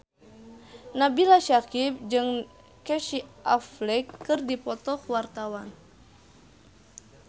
Nabila Syakieb jeung Casey Affleck keur dipoto ku wartawan